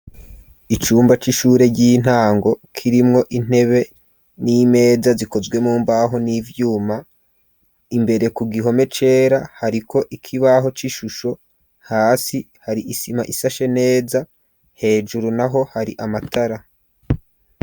Icumba c'ishure ry'intango kirimwo intebe n'imeza zikozwe mu mbaho n'ivyuma, imbere ku gihome cera hari ko ikibaho c'ishusho hasi hari isima isashe neza, hejuru naho hari amatara.